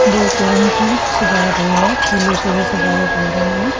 बहोत रंग की सजावट हुई है फूलों से भी सजावट हो रही है।